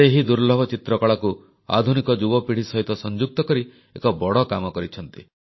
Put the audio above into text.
ସେ ଏହି ଦୁର୍ଲ୍ଲଭ ଚିତ୍ରକଳାକୁ ଆଧୁନିକ ଯୁବପିଢ଼ି ସହିତ ସଂଯୁକ୍ତ କରି ଏକ ବଡ଼ କାମ କରିଛନ୍ତି